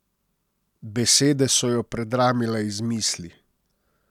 Besede so jo predramile iz misli.